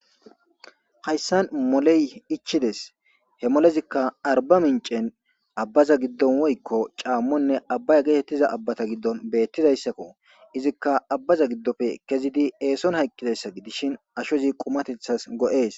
Hayssan moley ichchides he molezikka arbaminchen woykko aabbaza giddon caammo ne abaya gettettiza aabbatta giddon bettizayssakko izikka ha aabbaza keziddi esson hayqqizayssakko ashshozii qumatethas go'es